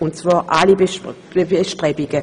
Wir unterstützen all diese Bestrebungen.